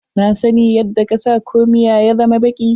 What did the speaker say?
Na sani yadda ka sa komia ya zama baki.